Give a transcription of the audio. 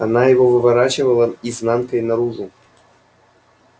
она его выворачивала изнанкой наружу